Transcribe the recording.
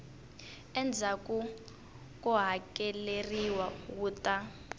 endzhaku ko hakeleriwa wu ta